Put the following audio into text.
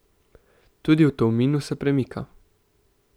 Tudi v Tolminu se premika.